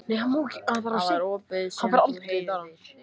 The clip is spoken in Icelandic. Það var ópið sem þú heyrðir.